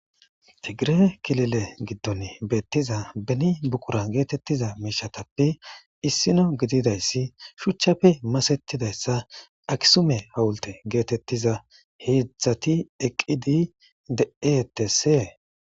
Tigire kilile giddon beettiza beni buqura geetettiza miishatappe issino gididayssi shuchchafe masetidayssa akisume hawulte geetettiza heedzdzati eqqidi dee etesee.